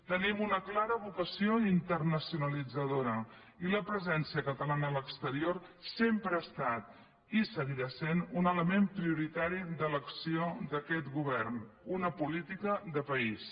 tenim una clara vocació internacionalitzadora i la presència catalana a l’exterior sempre ha estat i seguirà sent un element prioritari de l’acció d’aquest govern una política de país